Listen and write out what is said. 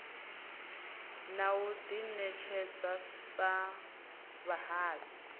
na u ḓiṋetshedza sa vhahali